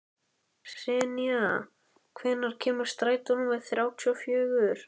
Senía, hvenær kemur strætó númer þrjátíu og fjögur?